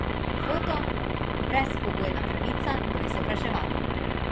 Foto: 'Brezpogojna pravica do izobraževanja!